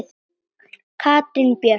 Katrín Björk.